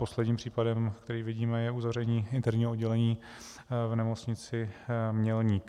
Posledním případem, který vidíme, je uzavření interního oddělení v Nemocnici Mělník.